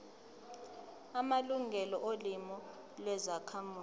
amalungelo olimi lwezakhamuzi